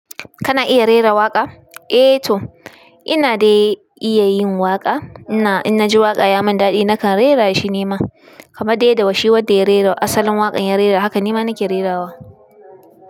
Kana iya rera waƙa? Eh to ina dai iya yin waƙa. Inna, in na ji waƙa ya mun dadi nakan rera shi nima. Kaman dai yadda wa shi wanda ya rera asalin waƙan ya rera haka nima nake rerawa.